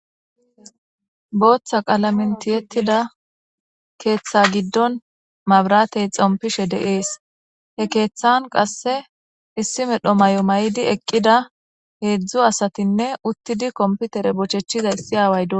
Booththa qalamentiyettida keeththa giddon mabratey xompishe de7ees he keeththan qasse issi medho may7o may7di eqqida heedzdzu asatinne uttidi komputere bochechizayssi aaway do.